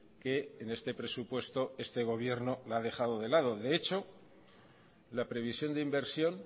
que en este presupuesto este gobierno la ha dejado de lado de hecho la previsión de inversión